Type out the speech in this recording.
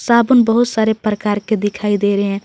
साबुन बहुत सारे प्रकार के दिखाई दे रहे हैं।